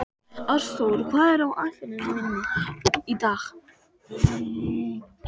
Ásþór, hvað er á áætluninni minni í dag?